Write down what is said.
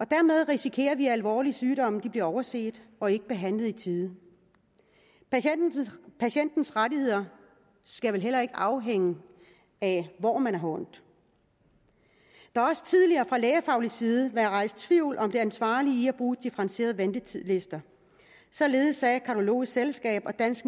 og dermed risikerer vi at alvorlige sygdomme bliver overset og ikke behandlet i tide patientens rettigheder skal vel heller ikke afhænge af hvor man har ondt der har også tidligere fra lægefaglig side været rejst tvivl om det ansvarlige i at bruge differentieret ventetidslister således sagde cardiologisk selskab og dansk